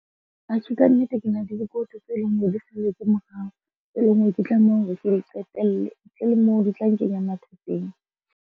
Atjhe, ka nnete ke na le dikoloto tse leng hore di salletse morao, tse leng hore ke tlameha hore ke di qetelle. Ntle le moo di tla nkenyang mathateng.